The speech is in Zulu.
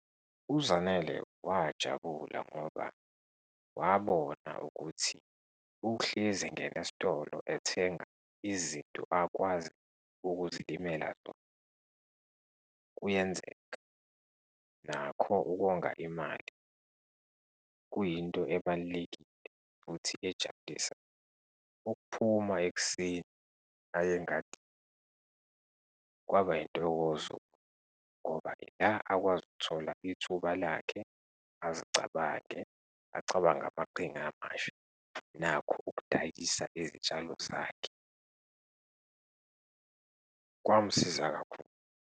UZanele wajabula ngoba wabona ukuthi ukuhlezi engene'sitolo ethenga izinto akwazi ukuzilimela zona kuyenzeka, nakho ukonga imali kuyinto ebalulekile futhi ejabulisayo. Ukuphuma ekuseni aye engadini kwaba yintokozo, ngoba yila akwazi ukuthola ithuba lakhe azicabange, acabange amaqhinga amasha nakho ukudayisa izitshalo zakhe, kwamsiza kakhulu.